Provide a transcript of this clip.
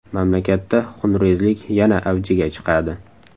Mamlakatda xunrezlik yana avjiga chiqadi.